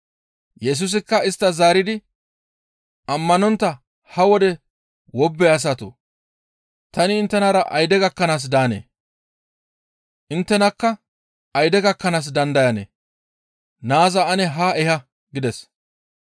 Yesusikka isttas zaaridi, «Ammanontta ha wode wobbe asatoo! Tani inttenara ayde gakkanaas daanee? Inttenakka ayde gakkanaas dandayanee? Naaza ane haa eha!» gides.